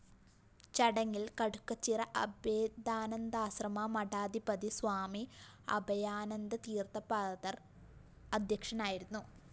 ചടങ്ങില്‍ കടുക്കച്ചിറ അഭേദാനന്ദാശ്രമമഠാധിപതി സ്വാമി അഭയാനന്ദതീര്‍ത്ഥപാദര്‍ അദ്ധ്യക്ഷനായിരുന്നു